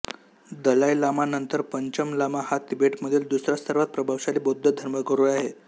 दलाई लामा नंतर पंचन लामा हा तिबेटमधील दुसरा सर्वात प्रभावशाली बौद्ध धर्मगुरू आहे